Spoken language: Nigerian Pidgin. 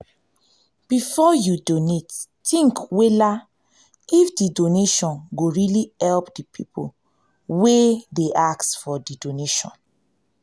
before you donate think wella if di donation go really help di pipo wey dey ask for donation